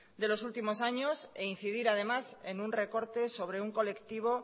de los últimos años e incidir además en un recorte sobre un colectivo